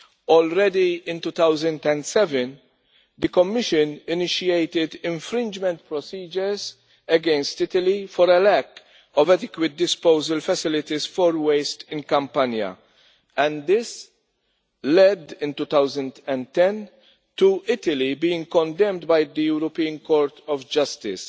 Already in 2007 the Commission initiated infringement procedures against Italy for a lack of adequate disposal facilities for waste in Campania, and this led in 2010 to Italy being condemned by the European Court of Justice.